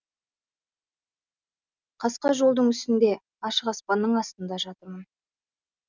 қасқа жолдың үстінде ашық аспанның астында жатырмын